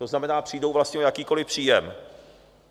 To znamená, přijdou vlastně o jakýkoliv příjem.